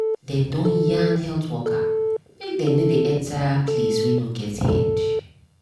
dem don yarn health worker make dem nor dey waka enter place wey nor get head.